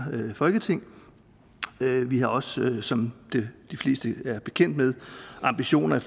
folketing vi har også som de fleste er bekendt med ambitioner